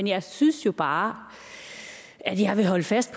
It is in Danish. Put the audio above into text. jeg synes jo bare at jeg vil holde fast